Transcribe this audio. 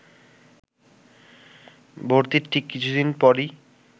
ভর্তির ঠিক কিছু দিন পরই